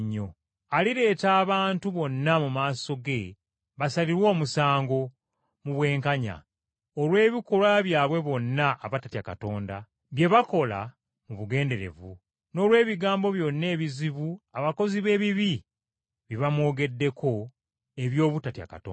Alireeta abantu bonna mu maaso ge basalirwe omusango mu bwenkanya olw’ebikolwa byabwe bonna abatatya Katonda, bye baakola mu bugenderevu, n’olw’ebigambo byonna ebizibu abakozi b’ebibi bye bamwogeddeko eby’obutatya Katonda.”